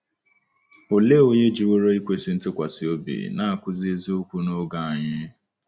Olee onye jiworo ikwesị ntụkwasị obi na-akụzi eziokwu n’oge anyị?